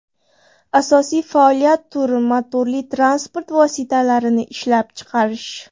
Asosiy faoliyat turi motorli transport vositalarini ishlab chiqarish.